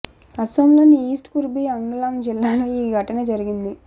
అసోంలోని east Karbi Anglong జిల్లాలో ఈ ఘటన జరింగింది